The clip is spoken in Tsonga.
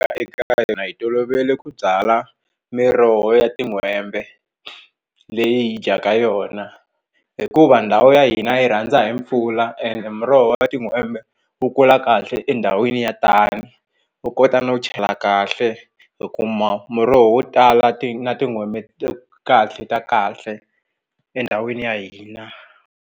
hi tolovele ku byala miroho ya tin'hwembe leyi hi dyaka yona hikuva ndhawu ya hina yi rhandza hi mpfula ende miroho ya tin'hwembe wu kula kahle endhawini ya tani u kota no chela kahle hi kuma muroho wo tala ti na tin'hwembe kahle ta kahle endhawini ya hina.